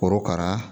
Korokara